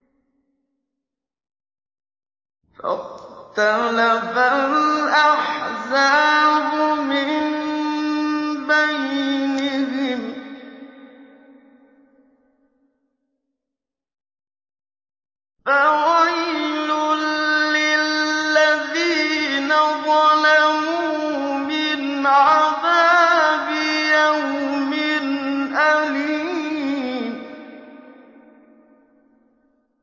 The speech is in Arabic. فَاخْتَلَفَ الْأَحْزَابُ مِن بَيْنِهِمْ ۖ فَوَيْلٌ لِّلَّذِينَ ظَلَمُوا مِنْ عَذَابِ يَوْمٍ أَلِيمٍ